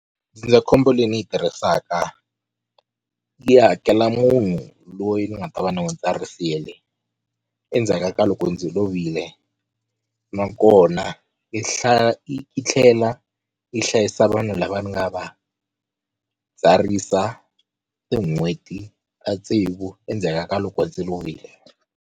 Ndzindzakhombo leyi ni yi tirhisaka yi hakela munhu loyi ni nga ta va ni n'wu tsarisile endzhaka ka loko ndzi lovile nakona yi hlaya yi yi tlhela yi hlayisa vanhu lava ni nga va tsarisa tin'hweti ta tsevu endzhaka ka loko ndzi lovile.